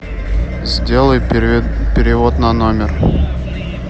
сделай перевод на номер